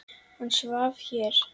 Hann svaf hér.